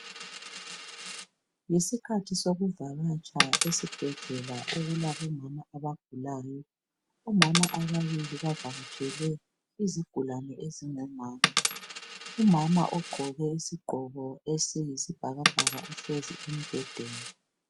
Yisikhathi sokuvakatsha esibhedlela okulabomama abagulayo omama ababili bavakatshele izigulani ezingomama. Umama ogqoke isigqoko esiyisibhakabhaka uhlezi embedeni.